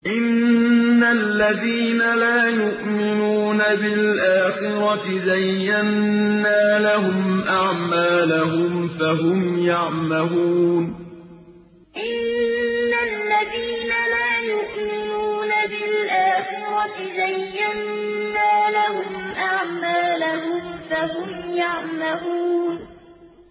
إِنَّ الَّذِينَ لَا يُؤْمِنُونَ بِالْآخِرَةِ زَيَّنَّا لَهُمْ أَعْمَالَهُمْ فَهُمْ يَعْمَهُونَ إِنَّ الَّذِينَ لَا يُؤْمِنُونَ بِالْآخِرَةِ زَيَّنَّا لَهُمْ أَعْمَالَهُمْ فَهُمْ يَعْمَهُونَ